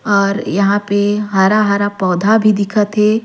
और यहाँ पे हरा-हरा पौधा भी दिखत हे।